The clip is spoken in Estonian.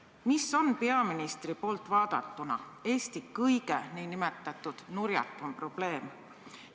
–, küsin: mis on peaministri poolt vaadatuna Eesti kõige n-ö nurjatum probleem?